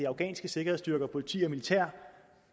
afghanske sikkerhedsstyrker politi og militær